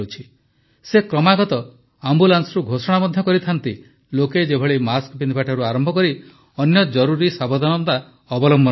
ସେ କ୍ରମାଗତ ଆମ୍ବୁଲାନ୍ସରୁ ଘୋଷଣା ମଧ୍ୟ କରିଥାନ୍ତି ଲୋକେ ଯେପରି ମାସ୍କ ପିନ୍ଧିବାଠାରୁ ଆରମ୍ଭ କରି ଅନ୍ୟ ଜରୁରୀ ସାବଧାନତା ଅବଲମ୍ବନ କରିବେ